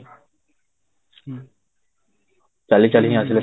ଚାଲି ଛଲଳିକି ହିଁ ଆସିଲେ